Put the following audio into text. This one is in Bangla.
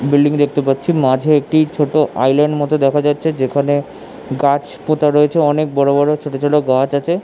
বিল্ডিং দেখতে পাচ্ছি মাঝে একটি ছোট আইল্যান্ড মতো দেখা যাচ্ছে যেখানে গাছ পোঁতা রয়েছে অনেক বড়ো বড়ো ছোট ছোট গাছ আছে --